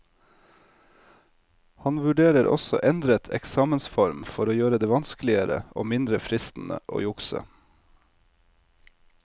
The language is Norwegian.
Han vurderer også endret eksamensform for å gjøre det vanskeligere og mindre fristende å jukse.